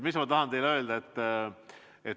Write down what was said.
Mida ma tahan teile öelda?